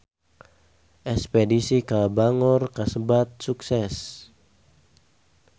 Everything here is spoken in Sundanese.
Espedisi ka Bangor kasebat sukses